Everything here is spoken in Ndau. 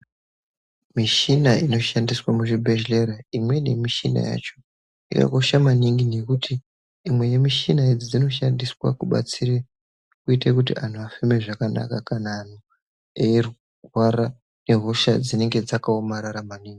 Michina inoshandiswa muzvibhedhlera imweni michina yacho yakakosha maningi ngekuti imwe yemichina idzi inoshandiswa kubatsire kuite kuti vantu vafeme zvakanaka kana antu eirwara ngehosha dzinenge dzakaomarara maningi .